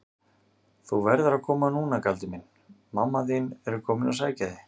Þú verður að koma núna Galdur minn, mamma þín er komin að sækja þig.